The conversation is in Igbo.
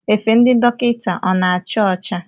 Efe ndị dọkịta ọ na-acha ocha?